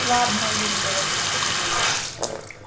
ладно ир говорит сергей